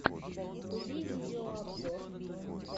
вруби видеообзор